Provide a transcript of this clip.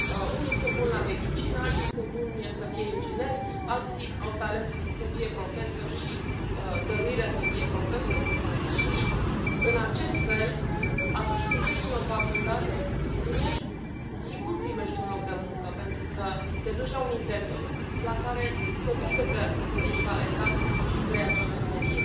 Unii sunt buni la medicină, alții sunt buni să fie ingineri, alții au talent să fie profesori și dăruire să fie profesori și, în acest fel, atunci când termini o facultate, sigur primești un loc de muncă, pentru că te duci la un interviu la care se vede că ești talentat și vrei acea meserie.